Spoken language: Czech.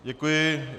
Děkuji.